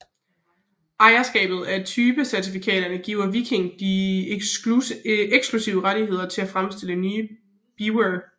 Ejerskabet af typecertifikaterne giver Viking de eksklusive rettigheder til at fremstille nye Beavere